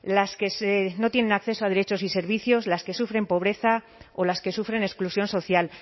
las que no tienen acceso a derechos y servicios las que sufren pobreza o las que sufren exclusión social